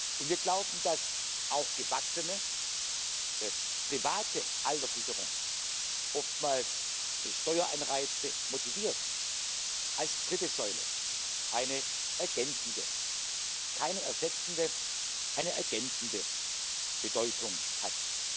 Und wir glauben, dass auch gewachsene private Alterssicherung, oftmals durch Steueranreize motiviert, als dritte Säule eine ergänzende keine ersetzende Bedeutung hat.